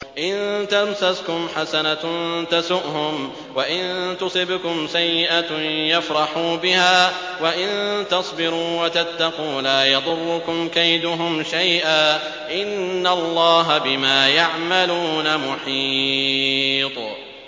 إِن تَمْسَسْكُمْ حَسَنَةٌ تَسُؤْهُمْ وَإِن تُصِبْكُمْ سَيِّئَةٌ يَفْرَحُوا بِهَا ۖ وَإِن تَصْبِرُوا وَتَتَّقُوا لَا يَضُرُّكُمْ كَيْدُهُمْ شَيْئًا ۗ إِنَّ اللَّهَ بِمَا يَعْمَلُونَ مُحِيطٌ